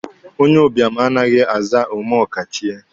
Onyeụbịam anaghị aza "omeọkachie".